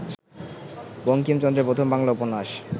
বঙ্কিমচন্দ্রের প্রথম বাংলা উপন্যাস